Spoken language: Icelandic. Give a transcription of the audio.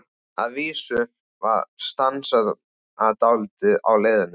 Að vísu var stansað dálítið á leiðinni.